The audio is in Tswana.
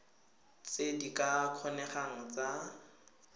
tse di ka kgonegang tsa